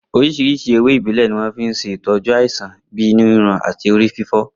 Oríṣiríṣi ewé ìbílẹ̀ ni wọ́n fi ń ṣe ìtọ́jú àìsàn bíi inú ríro àti orí fífọ́